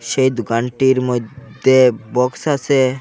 সেই দোকানটির মধ্যে বক্স আছে।